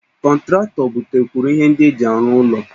Kọntratọ butekwuru ihe ndị eji arụ ụlọ